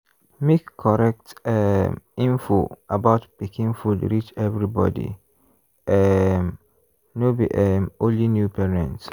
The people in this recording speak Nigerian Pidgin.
make correct um info about pikin food reach everybody um no be um only new parents.